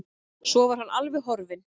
Svo var hann alveg horfinn.